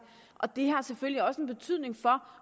og det har selvfølgelig også en betydning for